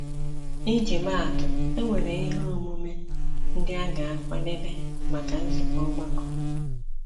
Ị ji maa atụ, e nwere ihe omume ndị a ga-akwadebe maka nzukọ ọgbakọ.